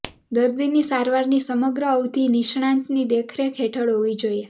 દર્દીની સારવારની સમગ્ર અવધિ નિષ્ણાતની દેખરેખ હેઠળ હોવી જોઈએ